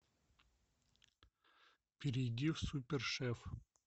перейди в супер шеф